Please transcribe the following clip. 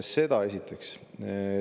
Seda esiteks.